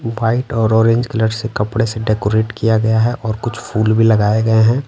White और orange colour से कपड़े से डेकोरेट किया गया है और कुछ फूल भी लगाए गए हैं।